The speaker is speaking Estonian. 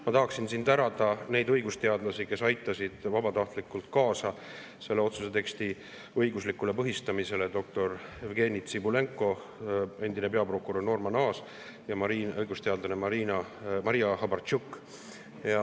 Ma tahan tänada neid õigusteadlasi, kes aitasid vabatahtlikult kaasa selle otsuse teksti õiguslikule põhistamisele: doktor Jevgeni Tsibulenko, endine peaprokurör Norman Aas ja õigusteadlane Maria Hrabarchuk.